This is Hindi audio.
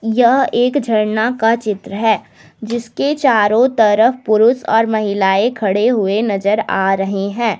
यह एक झरना का चित्र है जिसके चारों तरफ पुरुष और महिलाएं खड़े हुए नजर आ रहे हैं।